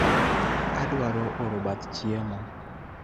Adwaro oro bath chiemo